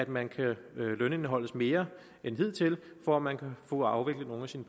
man kan lønindeholdes mere end hidtil for at man kan få afviklet nogle af sine